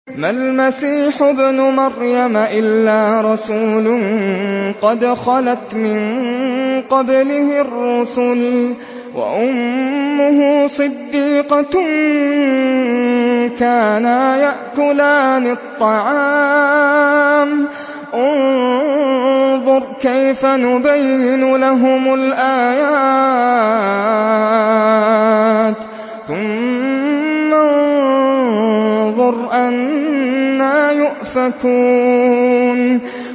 مَّا الْمَسِيحُ ابْنُ مَرْيَمَ إِلَّا رَسُولٌ قَدْ خَلَتْ مِن قَبْلِهِ الرُّسُلُ وَأُمُّهُ صِدِّيقَةٌ ۖ كَانَا يَأْكُلَانِ الطَّعَامَ ۗ انظُرْ كَيْفَ نُبَيِّنُ لَهُمُ الْآيَاتِ ثُمَّ انظُرْ أَنَّىٰ يُؤْفَكُونَ